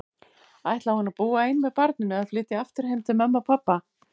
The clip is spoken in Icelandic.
Ætlaði hún að búa ein með barninu, eða flytja aftur heim til mömmu og pabba?